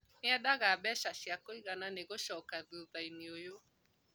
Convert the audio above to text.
Nĩndaga mbeca cia kũigana nĩgũcoka thutha inĩ ũyo